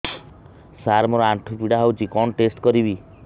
ସାର ମୋର ଆଣ୍ଠୁ ପୀଡା ହଉଚି କଣ ଟେଷ୍ଟ କରିବି